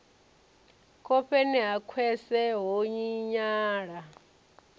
khofheni ha khwese ho tshinyala